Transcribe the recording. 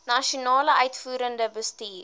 nasionale uitvoerende bestuur